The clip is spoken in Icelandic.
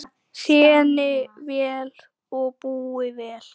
Þéni vel og búi vel.